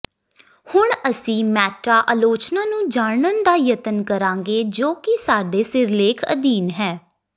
ਹੁਣ ਅਸੀ ਮੈਟਾ ਆਲੋਚਨਾ ਨੂੰ ਜਾਨਣ ਦਾ ਯਤਨ ਕਰਾਂਗੇ ਜੋ ਕਿ ਸਾਡੇ ਸਿਰਲੇਖ ਅਧੀਨ ਹੈ